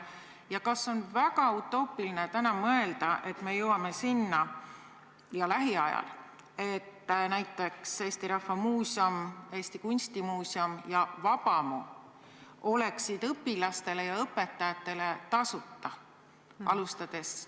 Ja kas on väga utoopiline mõelda, et me jõuame lähiajal sinnani, et näiteks Eesti Rahva Muuseum, Eesti Kunstimuuseum ja Vabamu oleksid õpilastele ja õpetajatele tasuta?